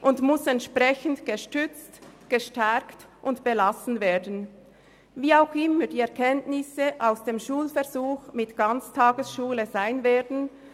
Sie muss entsprechend gestützt, gestärkt und belassen werden, wie auch immer die Erkenntnisse aus dem Schulversuch mit Ganztagesschulen sein werden.